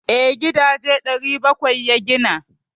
Eh, gidaje 700 ya gina.